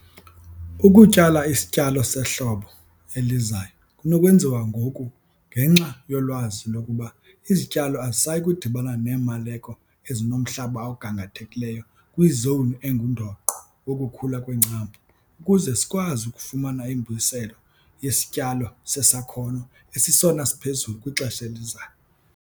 Ukutyala isityalo sehlobo elizayo kunokwenziwa ngoku ngenxa yolwazi lokuba izityalo azisayi kudibana neemaleko ezinomhlaba ogangathekileyo kwizowuni engundoqo wokukhula kweengcambu ukuze sikwazi ukufumana imbuyiselo yesityalo sesakhono esisesona siphezulu kwixesha elizayo.